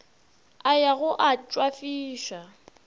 a ya go a tšwafiša